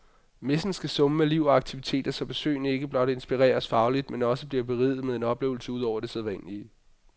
Messen skal summe af liv og aktiviteter, så besøgende ikke blot inspireres fagligt, men også bliver beriget med en oplevelse ud over det sædvanlige.